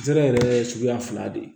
Zɛrɛ yɛrɛ ye suguya fila de ye